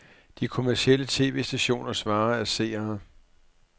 De kommercielle tv-stationers vare er seere.